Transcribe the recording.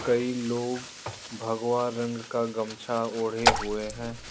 कई लोग भगवा रंग का गमछा ओढ़े हुए हैं।